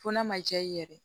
Fo n'a ma diya i ye yɛrɛ